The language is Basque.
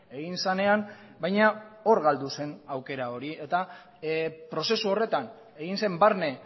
egin zenean baina hor galdu zen aukera hori eta prozesu horretan egin zen barne